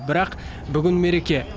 бірақ бүгін мереке